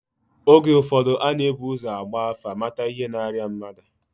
Oge ụfọdụ a na-ebu ụzọ gbaa afa, mata ihe na-arịa mmadụ